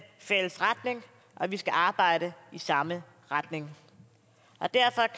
fælles retning og vi skal arbejde i samme retning og derfor